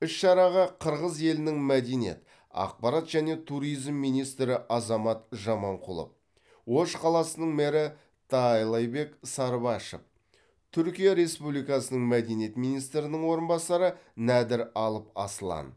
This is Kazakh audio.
іс шараға қырғыз елінің мәдениет ақпарат және туризм министрі азамат жаманқұлов ош қаласының мэрі таалайбек сарыбашев түркия республикасының мәдениет министрінің орынбасары нәдір алып аслан